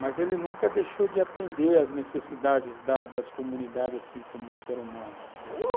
Mas ele nunca deixou de atender às necessidades das das comunidades, assim como o ser humano.